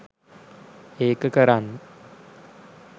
ඒක කරන්න